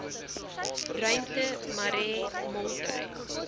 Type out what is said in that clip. ruimte marais moltrein